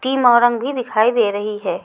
मोरंग भी दिखाई दे रही है।